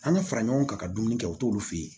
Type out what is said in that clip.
An ka fara ɲɔgɔn kan ka dumuni kɛ u t'olu fɛ yen